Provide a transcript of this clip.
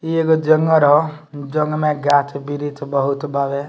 इ एगो जंगल हो जंगल में गाछ-वृक्ष बहुत बावे।